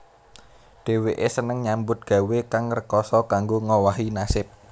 Dhèwèké seneng nyambut gawé kang rekasa kanggo ngowahi nasib